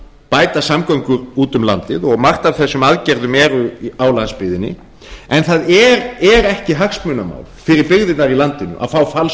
bæta samgöngur úti um landið og margt af þessum aðgerðum er á landsbyggðinni en það er ekki hagsmunamál fyrir byggðirnar í landinu að fá falsloforð